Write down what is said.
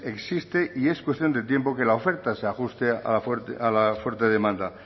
existe y es cuestión de tiempo que la oferta se ajuste a la fuerte demanda